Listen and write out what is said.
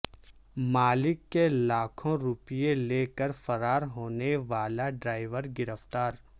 مالک کے لاکھوں روپئے لے کر فرار ہونے والا ڈرائیور گرفتار